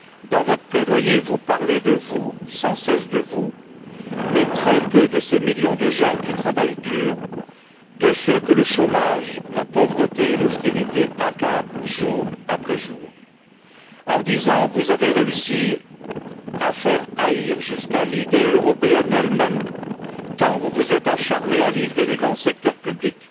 Dans votre plaidoyer, vous parlez de vous, sans cesse de vous, mais très peu de ces millions de gens qui travaillent dur, de ceux que le chômage, la pauvreté et l'austérité accablent jour après jour. En dix ans, vous avez réussi à faire haïr jusqu'à l'idée européenne elle même, tant vous vous êtes acharné à livrer les grands secteurs publics